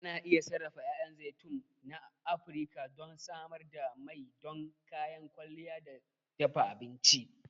Ana iya sarrafa 'ya'yan zaitun na Afirka don samar da mai don kayan kwalliya ko dafa abinci.